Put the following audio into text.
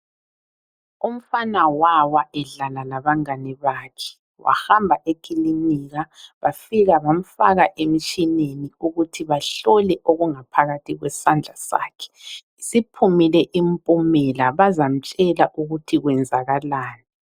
Umfana wawa edlala labangane bakhe wahamba ekilinika bafika bamfaka emtshineni ukuthi bahlole b okungaphakathi kwesandla sakhe. Siphumile impumela bazamtshela ukuthi kwenzakalani.